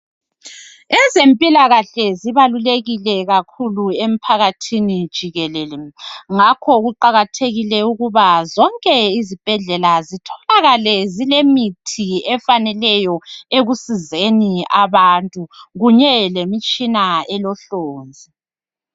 Ezempilakahle zibalulekile kakhulu emphakathini jikelele ngakho kuqakathekile ukuba zonke izibhedlela zitholakale zilemithi efaneleyo ekusizeni abantu kunye lemitshina elohlonzi.